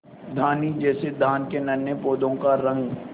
धानी जैसे धान के नन्हे पौधों का रंग